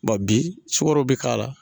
bi sukaro bɛ k'a la.